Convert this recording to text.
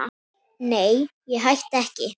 Nei, ég hætti ekki.